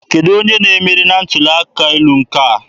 Kedụ onye na-emeri na ntuli aka elu a?